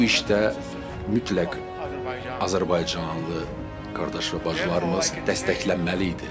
və bu işdə mütləq Azərbaycanlı qardaş və bacılarımız dəstəklənməliydi.